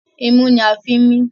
Imú ni a fi ń mí.